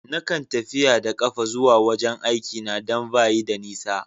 Na kan tafiya da kafa zuwa wajen aiki na dan ba yi da nisa.